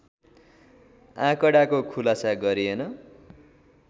आँकडाको खुलासा गरिएन